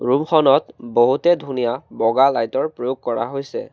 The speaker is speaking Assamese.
ৰুম খনত বহুতে ধুনীয়া বগা লাইট ৰ প্ৰয়োগ কৰা হৈছে।